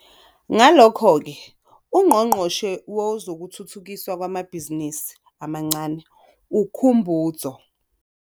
Ngalokho ke, uNgqongqoshe Wezokuthuthukiswa Kwamabhizinisi Amancane uKhumbudzo.